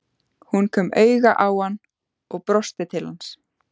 Hún kom auga á hann og brosti til hans.